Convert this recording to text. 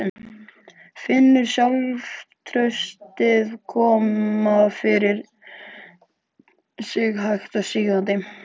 Finnur sjálfstraustið koma yfir sig hægt og sígandi.